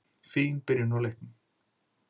Fín byrjun á leiknum.